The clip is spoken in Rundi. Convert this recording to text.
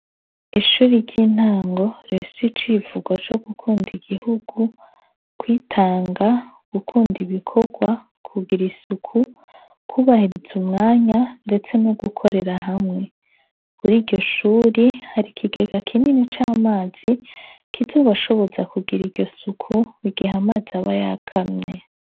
Ishure ryintango rifise icivugo cugukunda igihugu kwitanga gukunda ibikorwa kugira isuku kubahiriza umwanya ndetse nogukorera hamwe kuri iryoshure hari ikigega kinini camazi kizobashoboza kugira iryosuku mugihe amazi aba yakamye